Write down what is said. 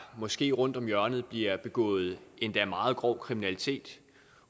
måske rundt om hjørnet bliver begået endda meget grov kriminalitet